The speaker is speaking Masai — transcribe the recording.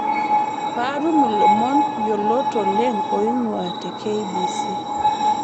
paatum ilomon yiolot oleng oing'uaa te k.b.c